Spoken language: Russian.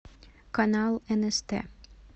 канал нст